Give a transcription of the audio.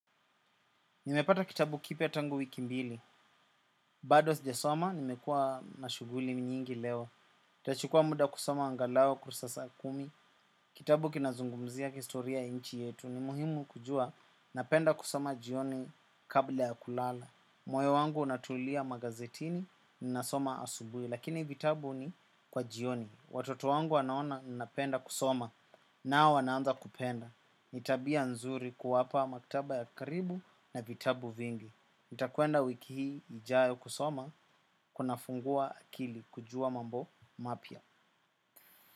Nimepata kitabu kipya tangu wiki mbili. Bado sijasoma, nimekuwa na shughuli nyingi leo. Itachukua muda kusoma angalau kurasa kumi. Kitabu kinazungumzia historia ya nchi yetu. Ni muhimu kujua, napenda kusoma jioni kabla ya kulala. Moyo wangu unatulia magazetini, ninasoma asubuhi. Lakini vitabu ni kwa jioni. Watoto wangu wanaona ninapenda kusoma. Nao wanaanza kupenda. Ni tabia nzuri kuwapa maktaba ya karibu na vitabu vingi. Nitakuenda wiki hii ijayo kusoma. Kunafungua akili kujua mambo mapya.